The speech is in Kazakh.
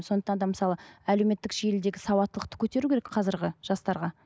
сондықтан да мысалы әлеуметтік желідегі сауаттылықты көтеру керек қазіргі жастарға